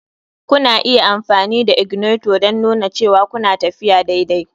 Kuna iya amfani da ignator don nuna cewa kuna tafiya daidai.